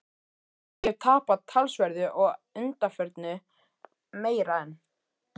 Ég hef tapað talsverðu að undanförnu- meira en